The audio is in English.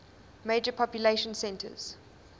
major population centers